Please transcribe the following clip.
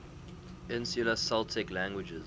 insular celtic languages